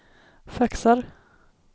faxar